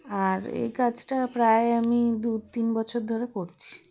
আর এ কাজটা প্রায় আমি দু তিন বছর ধরে করছি